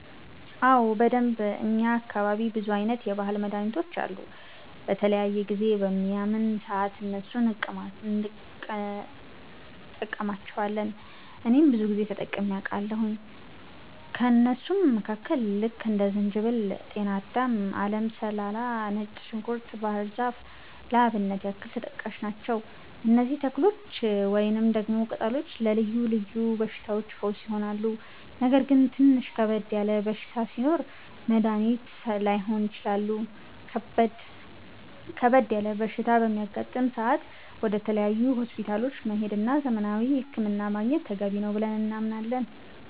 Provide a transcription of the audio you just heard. አዎ በደንብ፣ እኛ አካባቢ ብዙ አይነት የባህል መድሀኒቶች አሉ። በተለያየ ጊዜ በሚያመን ሰአት እነሱን እንቀማለቸዋለን እኔም ብዙ ጊዜ ተጠቅሜ አቃለሁኝ። ከእነሱም መካከል ልክ እንደ ዝንጅበል፣ ጤናዳም፣ አለም ሰላላ፣ ነጭ ዝንኩርት፣ ባህር ዛፍ ለአብነት ያክል ተጠቃሽ ናቸው። እነዚህ ተክሎች ወይንም ደግሞ ቅጠሎች ለልዮ ልዮ በሽታዎች ፈውስ ይሆናሉ። ነገር ግን ትንሽ ከበድ ያለ በሽታ ሲኖር መድኒት ላይሆኑ ይችላሉ ከበድ ያለ በሽታ በሚያጋጥም ሰአት ወደ ተለያዩ ሆስፒታሎች መሄድ እና ዘመናዊ ህክምና ማግኘት ተገቢ ነው ብለን እናምናለን።